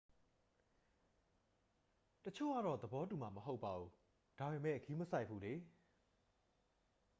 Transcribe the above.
"""တစ်ချို့ကတော့ သဘောတူမှာ မဟုတ်ပါဘူး၊ ဒါပေမယ့် ဂရုမစိုက်ဘူးလေ။